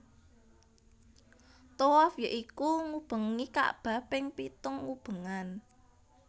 Thawaf ya iku ngubengi kakbah ping pitung ubengan